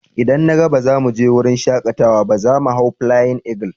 Idan na gaba za mu je wurin shakatawa, za mu hau "Flying Eagle".